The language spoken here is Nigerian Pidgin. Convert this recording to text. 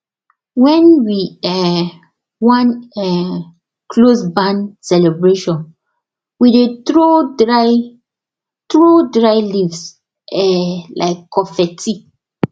wen we um wan um close barn celebration we dey throw dry throw dry leaves um like confetti